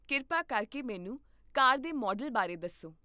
ਕਿਰਪਾ ਕਰਕੇ ਮੈਨੂੰ ਕਾਰ ਦੇ ਮਾਡਲ ਬਾਰੇ ਦੱਸੋ